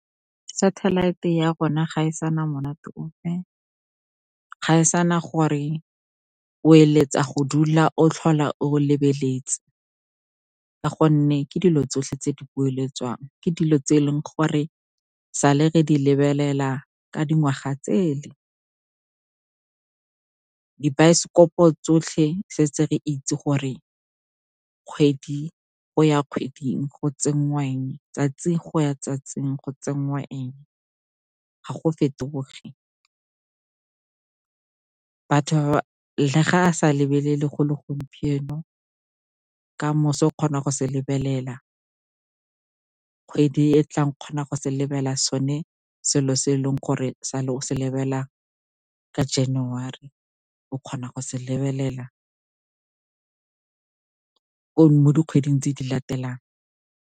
Satellite ya rona ga e sana monate ope, ga e sana gore o eletsa go dula o tlhola o lebeletse, ka gonne ke dilo tsotlhe tse di boeletswang. Ke dilo tse e leng gore sale re di lebelela ka dingwaga tsele. Dibaesekopo tsotlhe se re itse gore kgwedi go ya kgweding go tsenngwa eng, tsatsi go ya tsatsing go tsenngwa eng, ga go fetoge. Le ga a sa lebelele go le gompieno, ka moso o kgona go se lebelela, kgwedi e tlang o kgona go se lebella sone selo se e leng gore sale o se lebelela January. O kgona go se lebelela mo dikgweding tse di latelang.